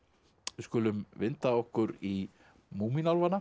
við skulum vinda okkur í